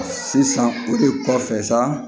Sisan o de kɔfɛ sa